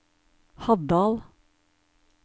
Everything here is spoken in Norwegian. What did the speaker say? Haddal